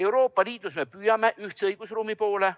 Euroopa Liidus me püüdleme ühtse õigusruumi poole.